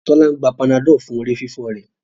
Tola ń gbà Panadol fún orí fífọ rẹ